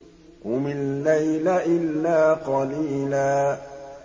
قُمِ اللَّيْلَ إِلَّا قَلِيلًا